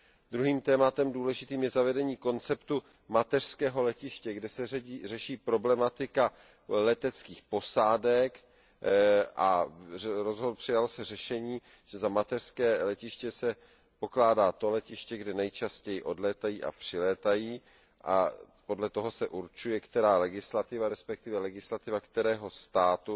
Druhým důležitým tématem je zavedení konceptu mateřského letiště, kterým se řeší problematika leteckých posádek, a přijalo se řešení, že za mateřské letiště se pokládá to letiště, ze kterého nejčastěji odlétají a kam nejčastěji přilétají, a podle toho se určuje, která legislativa, respektive legislativa kterého státu